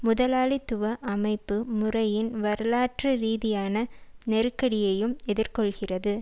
முதலாளித்துவ அமைப்பு முறையின் வரலாற்று ரீதியான நெருக்கடியையும் எதிர்கொள்கிறது